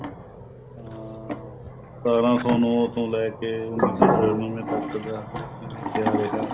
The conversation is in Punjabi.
ਹਾਂ ਸਤਾਰਾਂ ਸੋ ਨੋ ਤੋਂ ਲੈ ਕੇ ਉੰਨੀ ਸੋ ਛਿਆਨਵੇ ਤੱਕ ਦਾ ਕਿਵੇਂ ਕਿਆ ਰਿਹਾ